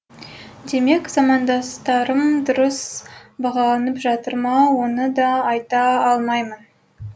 демек замандастарым дұрыс бағаланып жатыр ма оны да айта алмаймын